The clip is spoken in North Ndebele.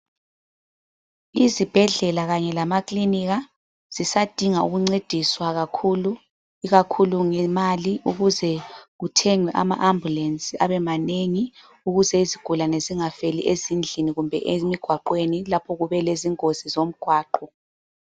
Izibhedlela kanye lamaklinika zisadinga ukuncediswa kakhulu, ikakhulu ngemali ukuze kuthengwe ama ambulensi abemanengi. Ukuze izigulane zingafeli ezindlini kumbe emigwaqweni lapho kube lezingozi zomgwaqo.